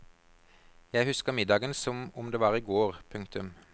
Jeg husker middagen som om det var i går. punktum